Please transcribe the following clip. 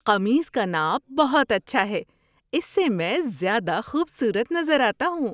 قمیص کا ناپ بہت اچھا ہے۔ اس سے میں زیادہ خوبصورت نظر آتا ہوں۔